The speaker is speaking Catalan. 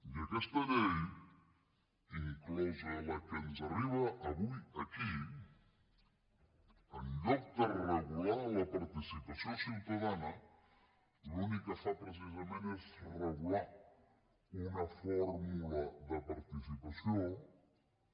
i aquesta llei inclosa la que ens arriba avui aquí en lloc de regular la participació ciutadana l’únic que fa precisament és regular una fórmula de participació que